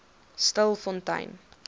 stilfontein